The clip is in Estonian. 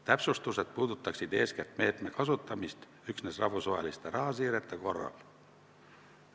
Täpsustused puudutaksid eeskätt meetme kasutamist üksnes rahvusvaheliste rahasiirete korral.